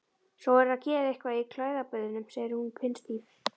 Svo verðurðu að gera eitthvað í klæðaburðinum, segir hún pinnstíf.